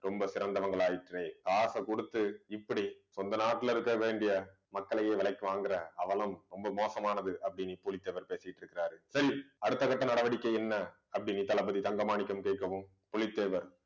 ரொம்ப சிறந்தவங்களாயிற்றே காசை கொடுத்து இப்படி சொந்த நாட்டுல இருக்க வேண்டிய மக்களையே விலைக்கு வாங்குற அவலம் ரொம்ப மோசமானது அப்படின்னு பூலித்தேவர் பேசிட்டுருக்குறார் சரி அடுத்த கட்ட நடவடிக்கை என்ன அப்படின்னு தளபதி தங்க மாணிக்கம் கேட்கவும் புலித்தேவர்